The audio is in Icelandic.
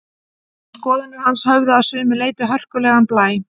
En skoðanir hans höfðu að sumu leyti hörkulegan blæ.